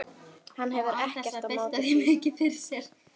Hann hefur ekkert á móti því.